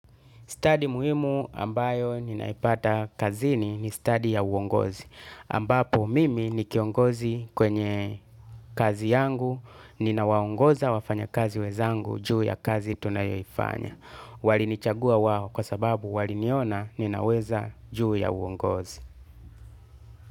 Study muhimu ambayo ninaipata kazini ni study ya uongozi. Ambapo mimi ni kiongozi kwenye kazi yangu, ninawaongoza wafanya kazi wezangu juu ya kazi tunayoifanya. Walinichagua wao kwa sababu waliniona ninaweza juu ya uongozi.